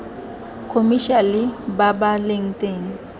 khomešiale ba ba leng teng